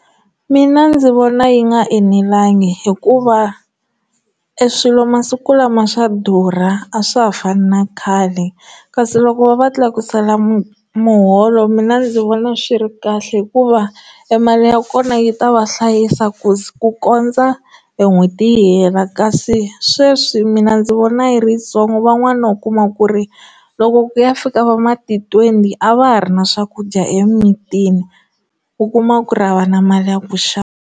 Mina ndzi vona yi nga enelangi hikuva eswilo masiku lama swa durha a swa ha fani na khale kasi loko va va tlakusela mu muholo mina ndzi vona swi ri kahle hikuva e mali ya kona yi ta va hlayisa ku kondza n'hweti yi hela kasi sweswi mina ndzi vona yi ri yitsongo van'wani u kuma ku ri loko ku ya fika va mati twenty a va ha ri na swakudya emimitini u kuma ku ri a va na mali ya ku xava.